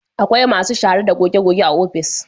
Akwai masu shara da goge goge a ofis